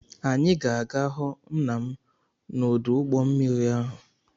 Anyị ga-aga hụ nna m n'ọdụ ụgbọ mmiri ahụ.